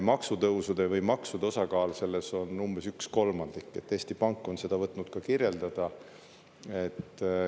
Maksutõusude või maksude osakaal selles on umbes üks kolmandik – Eesti Pank on seda võtnud ka kirjeldada.